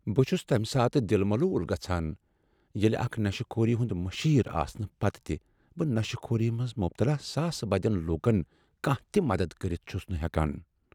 بہٕ چُھس تمہ ساتہٕ دِل ملوٗل گژھان ییٚلہ اکھ نشہٕ خوٗری ہنٛد مشیٖر آسنہٕ پتہٕ تِہ بہٕ نشہٕ كھوٗری منٛز مبتلا ساسہٕ بدٮ۪ن لوٗكن کانٛہہ تہ مدتھ كرِتھ چُھس نہٕ ہٮ۪کان ۔